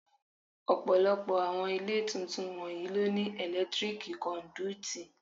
Ọ̀pọ̀lọpọ̀ àwọn ilé tuntun wọ̀nyí ló ní ẹ̀lẹ́tíríkì kọ́ndúítí.